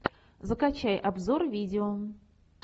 закачай обзор видео